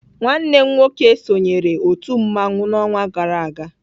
Nwanne m nwoke sonyeere otu mmanwụ n'ọnwa gara aga.